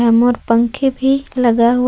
मोर पंखे भी लगा हुआ--